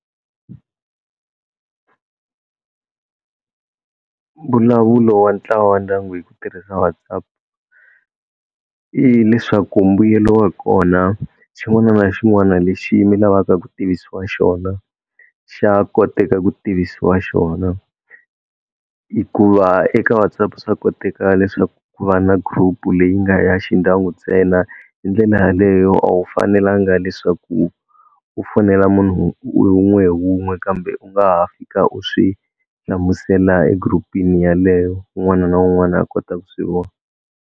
Mbulavulo wa ntlawa wa ndyangu hi ku tirhisa WhatsApp i leswaku mbuyelo wa kona xin'wana na xin'wana lexi mi lavaka ku tivisiwa xona xa koteka ku tivisiwa xona hikuva eka WhatsApp swa koteka leswaku ku va na group-u leyi nga ya xi ndyangu ntsena hi ndlela yaleyo a wu fanelanga leswaku u fonela munhu hi wun'we hi wun'we kambe u nga ha fika u swi hlamusela group-ini yaleyo wun'wana na wun'wana a kota ku swi vona.